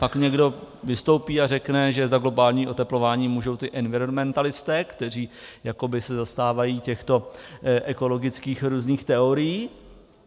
Pak někdo vystoupí a řekne, že za globální oteplování můžou ty environmentalisté, kteří jakoby se zastávají těchto ekologických různých teorií.